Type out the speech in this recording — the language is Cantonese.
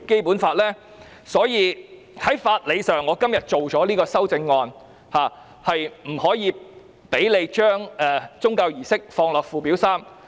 故此，基於法理，我今天提出這項修正案，不把宗教儀式列入附表3。